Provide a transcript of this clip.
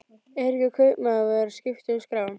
Eiríkur kaupmaður var að skipta um skrá.